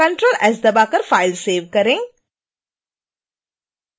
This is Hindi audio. ctrl + s दबाकर फ़ाइल सेव करें